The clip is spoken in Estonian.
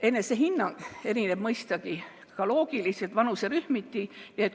Enesehinnang erineb mõistagi loogiliselt ka vanuserühmiti.